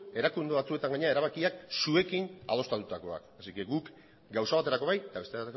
erakunde batzuetan gainera erabakiak zuekin adostutakoak beraz guk gauza baterako bai eta beste